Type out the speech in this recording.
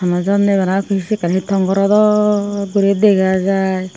honow jon nei bana pi syen ekkan hi tom goro dok guri dega jai.